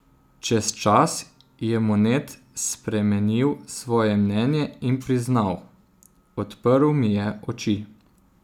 Čez čas je Monet spremenil svoje mnenje in priznal: "Odprl mi je oči.